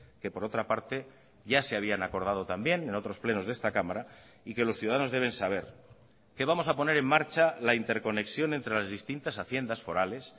que por otra parte ya se habían acordado también en otros plenos de esta cámara y que los ciudadanos deben saber que vamos a poner en marcha la interconexión entre las distintas haciendas forales